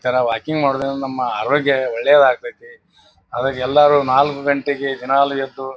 ಈ ತರ ವಾಕಿಂಗ್ ಮಾಡೋದ್ರಿಂದ ನಮ್ಮ ಅರೋಗ್ಯ ಒಳ್ಳೇದ ಆಗ್ತೇತಿ ಆದಾಗ್ ಎಲ್ಲರೂ ನಾಲ್ಕು ಗಂಟೆಗೆ ದಿನಾಲೂ ಎದ್ದು--